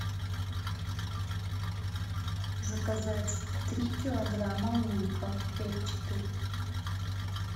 заказать три килограмма лука репчатый